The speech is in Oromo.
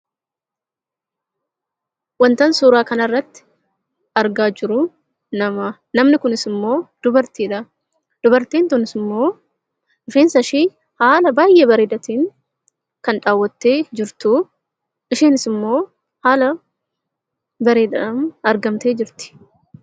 Wanti an suuraa kana irratti argaa jiru namadha. Namni kun ammoo dubartiidha. Dubartiin kunis ammoo rifeensa ishee haala baay'ee bareeda ta'een kan dhaawwattee jirtu. Isheenis ammoo haala bareedaadhaan argamtee jirti.